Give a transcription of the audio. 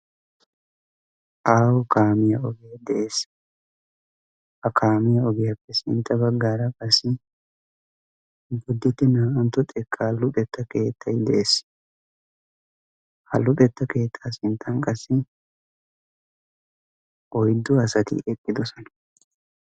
Aaho kaamiyaa oge de'ees. Ha kaamiyaa ogiyappe sintta baggaara qassi Boditte naa"antto xekka luxetta keettay de'ees. Ha luxetta keetta sinttan qassi oyddu asati eqqidoosona.